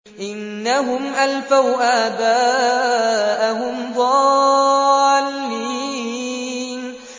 إِنَّهُمْ أَلْفَوْا آبَاءَهُمْ ضَالِّينَ